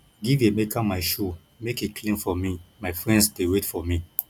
give emeka my shoe make he clean for me my friends dey wait for me